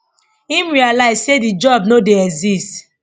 im realise say di job no dey exist